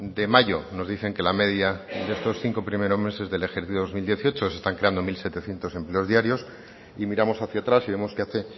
de mayo nos dicen que la media de estos cinco primeros meses del ejercicio dos mil dieciocho se están creando mil setecientos empleo diarios y miramos hacia atrás y vemos que hace